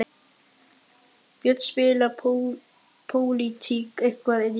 Björn: Spilar pólitík eitthvað inn í þetta?